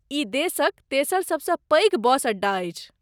ई देशक तेसर सबसँ पैघ बस अड्डा अछि।